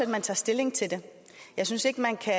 man tager stilling til det jeg synes ikke man kan